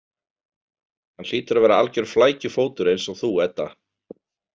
Hann hlýtur að vera algjör flækjufótur eins og þú Edda.